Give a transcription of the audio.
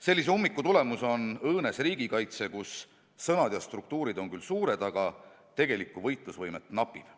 Sellise ummiku tagajärg on õõnes riigikaitse, kus sõnad ja struktuurid on küll suured, aga tegelikku võitlusvõimet napib.